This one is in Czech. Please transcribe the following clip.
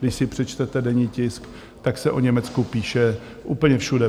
Když si přečtete denní tisk, tak se o Německu píše úplně všude.